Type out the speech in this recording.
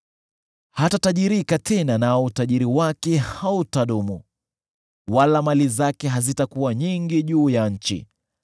Hatatajirika tena, nao utajiri wake hautadumu, wala mali zake hazitakuwa nyingi juu ya nchi.